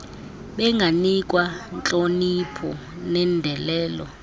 benganikwa ntlonipho nendelelo